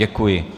Děkuji.